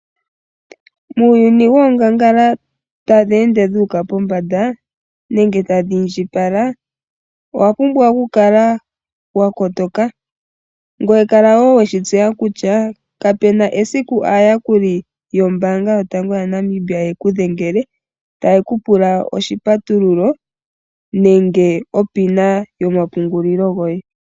Muuyuni woongangala tadhi ende dhu uka pombanda nenge tadhi indjipala owapumbwa okukala wa kotoka ngoye kala woo weshi tseya kutya kapena esiku aayakuli yombaanga yotango yaNamibia yi kedhengele taye kupula oshipatululo nenge onomola yo mapungulilo goye.